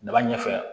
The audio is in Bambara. Daba ɲɛfɛ